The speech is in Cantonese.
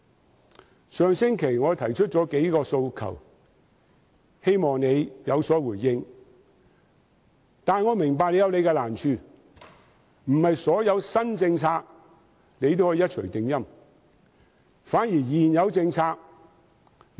我在上星期提出了數個訴求，希望司長能有所回應，但我明白司長有難處，不能對所有新政策做到一錘定音。